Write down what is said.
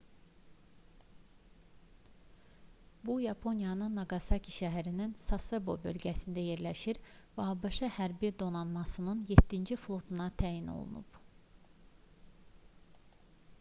bu yaponiyanın naqasaki şəhərinin sasebo bölgəsində yerləşir və abş hərbi donanmasının 7-ci flotuna təyin olunub